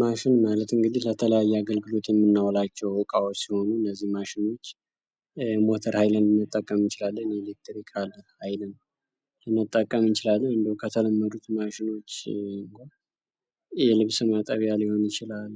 ማሽን ማለት እንግዲህ ለተለያዩ አገልግሎት የምናውላቸው እቃዎች ሲሆኑ እነዚህን ማሽኖች ሞተር ኃይልን ልንጠቀም እንችላለን የኤሌክትሪካል ኃይልን ልንጠቀም እንችላለን። እንዲሁ ከተለመደ ማሽኖች የልብስ ማጠቢያ ሊሆን ይችላል።